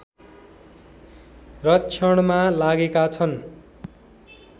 रक्षणमा लागेका छन्